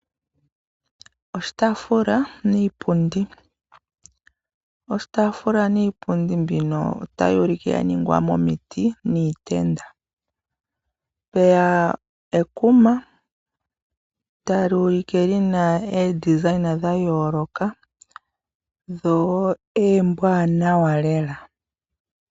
Oshitaafula niipundi , oshitaafula niipundi mbino otayi ulike ya ningwa momiti niitenda. mpeya ekuma tali ulike lina omawukwatya ga yooloka go omawanawa lela.